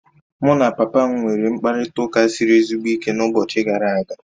Mụ na papa m nwere mkparịta ụka siri ezigbo ike n'ụbọchị gara a ga